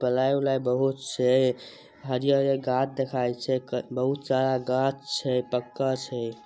Ply उलाय बहुत छै हरीयर हरीयर गाछ दिखाई छै बहुत सारा गाछ छै पक्का छै।